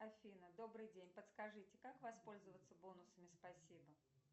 афина добрый день подскажите как воспользоваться бонусами спасибо